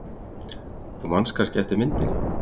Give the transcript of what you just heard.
Þú manst kannski eftir myndinni.